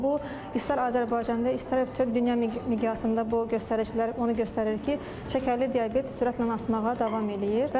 Bu istər Azərbaycanda, istər bütöv dünya miqyasında bu göstəricilər onu göstərir ki, şəkərli diabet sürətlə artmağa davam eləyir.